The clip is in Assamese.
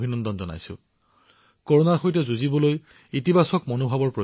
মই দেশৰ জনসাধাৰণক সুৰেখাজীয়ে তেওঁৰ অভিজ্ঞতাৰ পৰা জনোৱা অনুভূতিবোৰ প্ৰকাশ কৰিবলৈও অনুৰোধ কৰিম